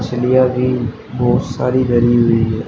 मछलियां भी बहोत सारी धरी हुई है।